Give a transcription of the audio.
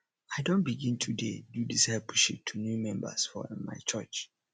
i don begin to dey do discipleship to new members for um my church